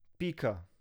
Pika.